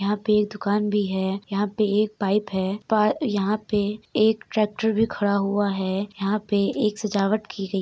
यहां पर एक दुकान भी है। यहां पर एक पाइप है। पर यहां पर एक ट्रैक्टर भी खड़ा हुआ है। यहां पर सजावट भी की गई --